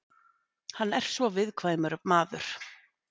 Hann er svo viðkvæmur maður.